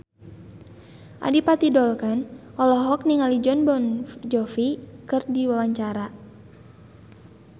Adipati Dolken olohok ningali Jon Bon Jovi keur diwawancara